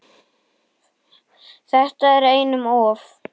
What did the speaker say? Þetta er einum of